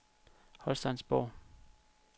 Holsteinsborg